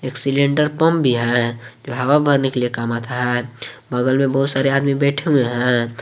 Cylinder pump भी है जो हवा भरने के लिए काम आता है बगल में बहुत सारे आदमी बैठे हुए हैं।